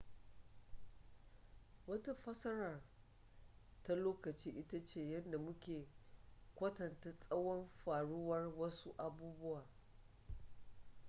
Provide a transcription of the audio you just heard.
wata fassarar ta lokaci ita ce yadda mu ke kwatanta tsawon faruwar wasu abubuwa